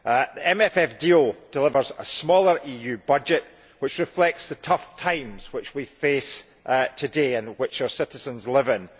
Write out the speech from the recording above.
The MFF deal delivers a smaller EU budget which reflects the tough times which we face today and which our citizens live in.